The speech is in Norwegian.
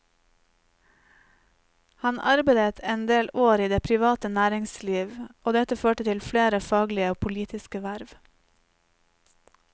Han arbeidet endel år i det private næringsliv, og dette førte til flere faglige og politiske verv.